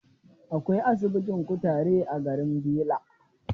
Akwai asibitin kutare a garin Bela.